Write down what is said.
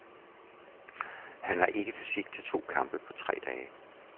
Han har ikke fysik til to kampe på tre dage.